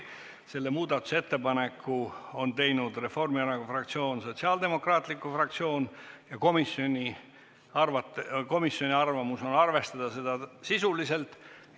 Selle ettepaneku on teinud Reformierakonna fraktsioon ja Sotsiaaldemokraatliku Erakonna fraktsioon ja komisjoni seisukoht on arvestada seda sisuliselt.